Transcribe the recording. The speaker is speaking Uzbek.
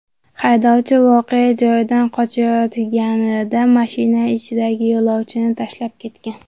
Haydovchi voqea joyidan qochayotganida mashina ichidagi yo‘lovchini tashlab ketgan.